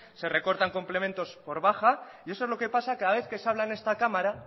se recortan complementos por baja y eso es lo que pasa cada vez que se habla en esta cámara